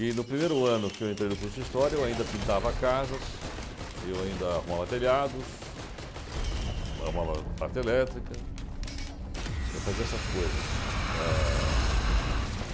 E no primeiro ano que eu entrei no curso de história, eu ainda pintava casas e eu ainda arrumava telhados, arrumava parte elétrica, eh, fazia essas coisas. Ah